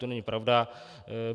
To není pravda.